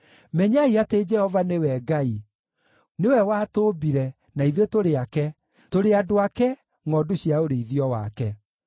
Menyai atĩ Jehova nĩwe Ngai. Nĩwe watũũmbire, na ithuĩ tũrĩ ake, tũrĩ andũ ake, ngʼondu cia ũrĩithio wake.